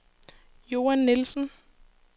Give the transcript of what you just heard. Joan Nielsen